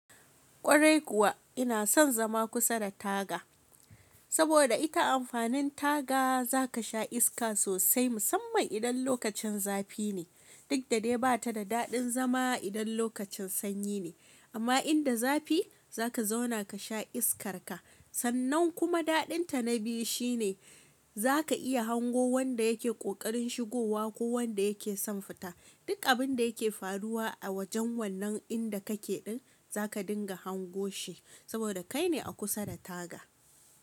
Kwarai kuwa ina son zama kusa da taga, saboda ita amfanin taga za ka sha iska sosai musamman idan lokacin zafi ne, duk da dai ba ta da daɗin zama idan lokacin sanyi ne. Amma inda zafi za ka zauna ka sha iskarka. Sannan kuma daɗinta na biyu shi ne za ka iya hango wanda yake ƙoƙarin shigowa ko wanda yake son fita. Duk abin da yake faruwa a wajen wannan inda kake ɗin za ka dinga hango shi saboda kai ne a kusa da taga.